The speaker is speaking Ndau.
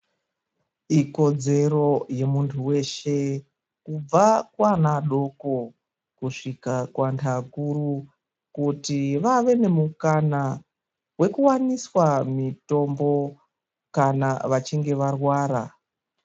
Ikodzero yemuntu weshe kubva kuana adoko kusvika kuantu mukuru kuti vave nemukana wekuwaniswa mutombo kana vachinge varwara.